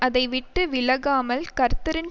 அதை விட்டு விலகாமல் கர்த்தரின்